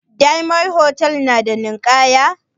Diyamond hotal na da ninkaya?